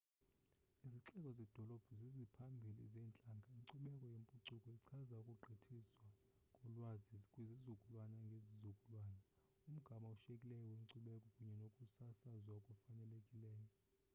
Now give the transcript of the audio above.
izixeko zedolophu ziziphambili zeentlanga inkcubeko yempucuko ichaza ukugqithiswa kolwazi kwizizukulwana ngezizukulwana umgama oshiyekileyo wenkcubeko kunye nokusasazwa okufanelekileyo